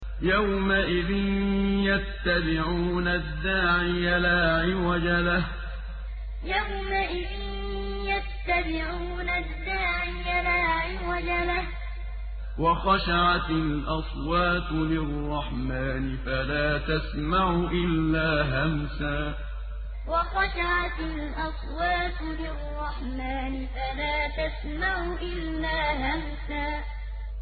يَوْمَئِذٍ يَتَّبِعُونَ الدَّاعِيَ لَا عِوَجَ لَهُ ۖ وَخَشَعَتِ الْأَصْوَاتُ لِلرَّحْمَٰنِ فَلَا تَسْمَعُ إِلَّا هَمْسًا يَوْمَئِذٍ يَتَّبِعُونَ الدَّاعِيَ لَا عِوَجَ لَهُ ۖ وَخَشَعَتِ الْأَصْوَاتُ لِلرَّحْمَٰنِ فَلَا تَسْمَعُ إِلَّا هَمْسًا